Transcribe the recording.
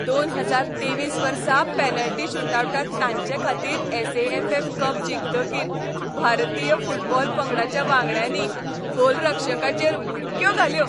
दोन हजार तेवीस वर्सा पॅनल्टी शूटआवटांत तांचेखातीर S. A. F. F. Cup जिखतकीर भारतीय फुटबॉल पंगडाच्या वांगड्यांनी गोलरक्षकाचेर उडक्यो घातल्यो.